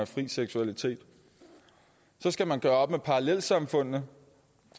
fri seksualitet så skal man gøre op med parallelsamfundene